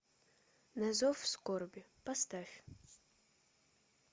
на зов скорби поставь